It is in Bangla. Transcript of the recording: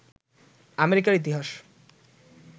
আমেরিকার ইতিহাস